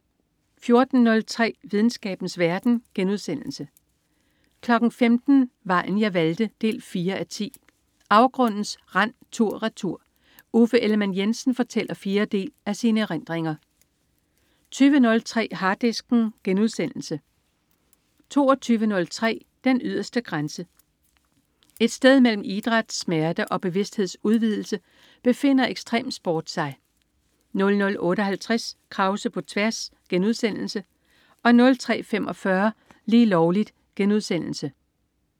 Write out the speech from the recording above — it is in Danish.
14.03 Videnskabens verden* 15.00 Vejen jeg valgte 4:10. Afgrundens rand tur-retur. Uffe Ellemann-Jensen fortæller fjerde del af sine erindringer 20.03 Harddisken* 22.03 Den yderste grænse. Et sted mellem idræt, smerte og bevidsthedsudvidelse befinder ekstremsport sig 00.58 Krause på tværs* 03.45 Lige Lovligt*